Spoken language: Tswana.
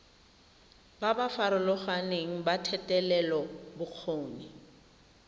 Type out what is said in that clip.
ba ba farologaneng ba thetelelobokgoni